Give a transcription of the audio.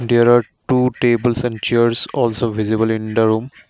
there are two tables and chairs also visible in the room.